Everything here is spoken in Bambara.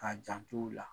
K'a jant'ola